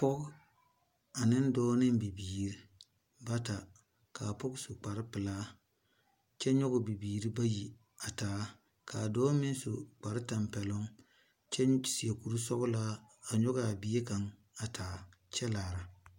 Poɔ ane doɔ ane bibiiri bata kaa poɔ su kpare pelaa kye nyugɛ bibiiri bayi a taa kaa doɔ meng su kpare tampelon kye seɛ kuri sɔglaa a nyugi a bie kang arẽ kye laara.